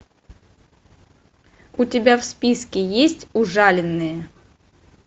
у тебя в списке есть ужаленные